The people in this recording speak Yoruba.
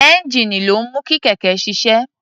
Ẹ́ńjíìnì ló ń mú kí kẹ̀kẹ́ ṣiṣẹ́.